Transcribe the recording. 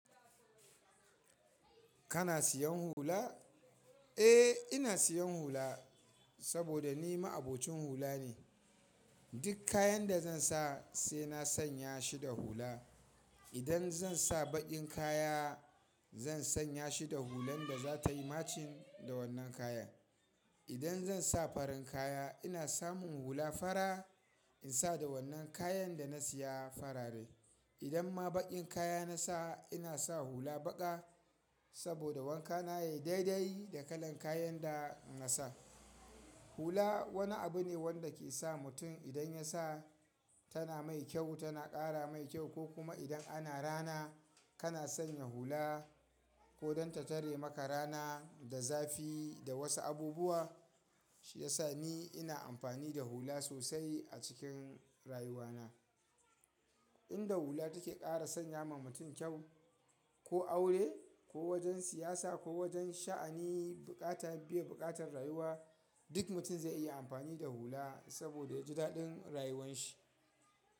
Kana siyan hula? Eh, ina siyan hula, saboda ni ma'abocin hula ne. Duk kayan da zan sa sai na sanya shi da hula. Idan zan sa baƙin kaya zan sanya shi da hulan da za ta yi matching da wannan kaya. Idan zan sa farin kaya ina samun hula fara in sa da wannan kayan da na siya farare. Idan ma baƙin kaya na sa ina sa hula baƙa. Saboda wanka na yayi daidai da kalar kayan da na sa. Hula wani abu ne wanda ke sa mutum idan ya sa tana mai kyau tana ƙara mai kyau ko kuma idan ana rana kana sanya hula ko don ta tare maka rana da zafi da wasu abubuwa, shi ya sa ni ina amfani da hula sosai a cikin rayuwa na. Inda hula take ƙara sanya ma mutum kyau, ko aure ko wajen siyasa ko wajen sha'ani buƙata biye buƙatar rayuwa, duk mutum zai iya amfani da hula saboda ya ji daɗin rayuwan shi.